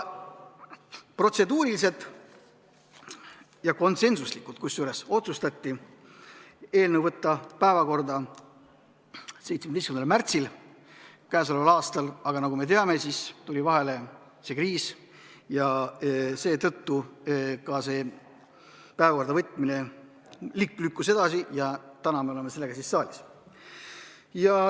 Protseduuriliselt ja konsensuslikult otsustati eelnõu võtta päevakorda 17. märtsil k.a. Aga nagu me teame, tuli vahele see kriis ja seetõttu päevakorda võtmine lükkus edasi ja täna me oleme sellega saalis.